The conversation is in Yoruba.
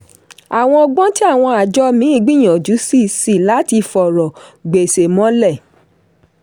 àwọn ọgbọ́n tí àwọn àjọ míì gbìyànjú sí sí láti fọ̀rọ̀ gbèsè mọ́lẹ̀.